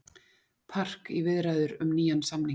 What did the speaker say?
Park í viðræður um nýjan samning